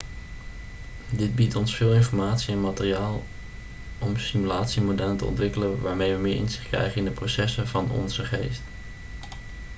dit biedt ons veel informatie en materiaal om simulatiemodellen te ontwikkelen waarmee we meer inzicht krijgen in de processen van onze geest